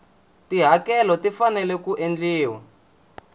tihakelo ti fanele ku endliwa